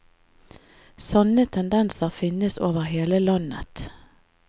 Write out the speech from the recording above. Sånne tendenser finnes over hele landet.